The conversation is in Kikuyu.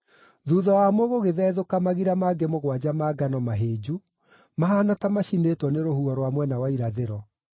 Thuutha wamo gũgĩthethũka magira mangĩ mũgwanja ma ngano mahĩnju, mahaana ta macinĩtwo nĩ rũhuho rwa mwena wa irathĩro.